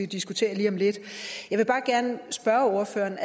diskutere lige om lidt jeg vil bare gerne spørge ordføreren